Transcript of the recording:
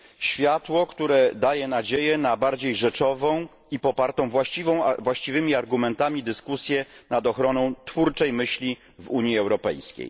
Światło, które daje nadzieję na bardziej rzeczową i popartą właściwymi argumentami dyskusję nad ochroną twórczej myśli w Unii Europejskiej.